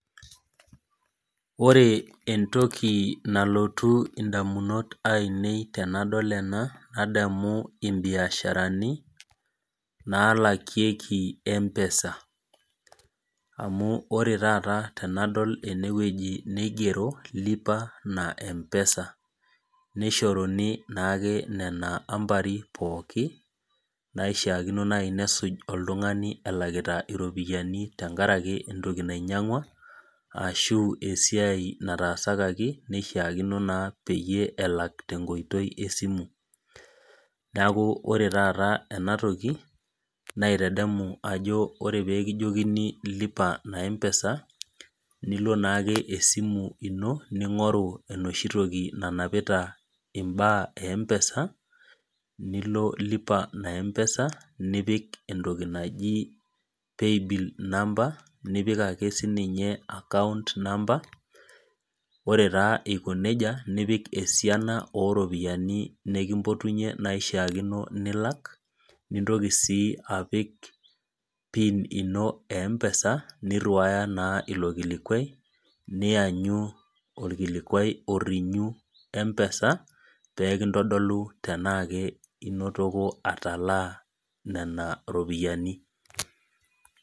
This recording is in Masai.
Ore entoki nalotu edamunot ainei tenadol ena nadamu ee biasharani nalakiekie mpesa amu ore taata tenadol ena nigero lipa na mpesa nishoruni naake Nena ambari pookin naishaakino naaji nesuj oltung'ani elakita eropiani tenkaraki entoki nainyiangua ashu esiai natasakaki naishakino naa pelaki tee nkoitoi esimu neeku ore taata ena toki naitadamu Ajo ore pee kijokini lipa na mpesa nilo naake esimu eno ning'oru enoshi toki nanapita mbaa eempesa nilo lipa na mpesa nipik entokii naaji paybil number nipik ake sininje account number ore taa eiko nejia nipik esiana oo ropiani nikimpotunye naishakino nilak nintoki sii apik pin ino ee mpesa niriwa naa elo kilikuai nianyu orkilikuai orinyu mpesa pee kintolu tenaa enotoko atalaa Nena ropiani